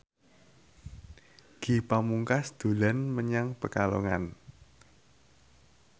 Ge Pamungkas dolan menyang Pekalongan